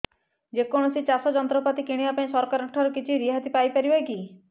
ଯେ କୌଣସି ଚାଷ ଯନ୍ତ୍ରପାତି କିଣିବା ପାଇଁ ସରକାରଙ୍କ ଠାରୁ କିଛି ରିହାତି ପାଇ ପାରିବା କି